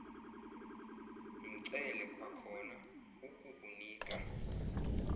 mcele kwakhona ukukunika